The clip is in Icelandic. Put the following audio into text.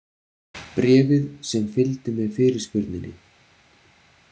Bréfið sem fylgdi með fyrirspurninni.